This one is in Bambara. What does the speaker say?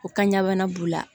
U ka ɲagamana b'u la